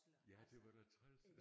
Ja det var da træls